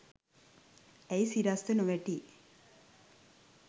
ඇයි සිරස්ව නොවැටි